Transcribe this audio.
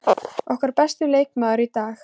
Okkar besti leikmaður í dag.